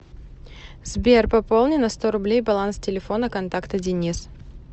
сбер пополни на сто рублей баланс телефона контакта денис